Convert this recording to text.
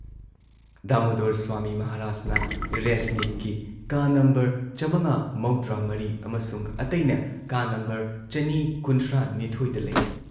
ꯗꯥꯃꯨꯗꯣꯔ ꯁ꯭ꯋꯥꯃꯤ ꯃꯍꯥꯔꯥꯖꯅ ꯔꯦꯁꯅꯤꯛꯀꯤ ꯀꯥ ꯅꯝꯕꯔ ꯆꯥꯃꯉꯥ ꯃꯧꯗ꯭ꯔꯥꯃꯔꯤ ꯑꯃꯁꯨꯡ ꯑꯇꯩꯅ ꯀꯥ ꯅꯝꯕꯔ ꯆꯅꯤ ꯀꯨꯟꯊ꯭ꯔꯥꯅꯤꯊꯣꯏꯗ ꯂꯩ ꯫